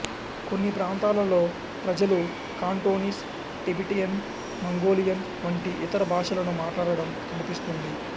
కొన్ని ప్రాంతాలలో ప్రజలు కాంటోనిస్ టిబెటియన్ మంగోలియన్ వంటి ఇతర భాషలను మాట్లాడటం కనిపిస్తుంది